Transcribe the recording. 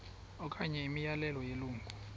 okanye imiyalelo yelungu